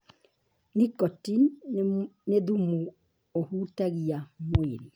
Nicotine nĩ thumu ũhutagia mwĩrĩ.